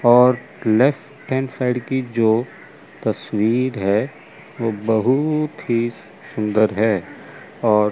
और left hand side की जो तस्वीर हैं वो बहुत ही सुंदर है और --